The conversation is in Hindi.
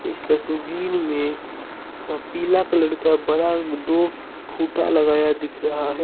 इस तस्वीर में पीला कलर का बड़ा दो खुटा लगाया दिख रहा है।